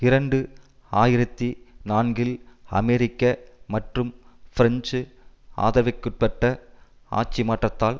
இரண்டு ஆயிரத்தி நான்கில் அமெரிக்க மற்றும் பிரெஞ்சு ஆதரவிற்குட்பட்ட ஆட்சிமாற்றத்தால்